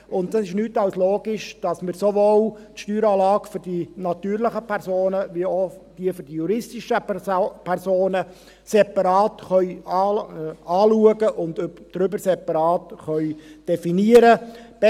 Und es ist nichts als logisch, dass wir sowohl die Steueranlage für die natürlichen Personen als auch diejenige für die juristischen Personen separat anschauen und separat definieren können.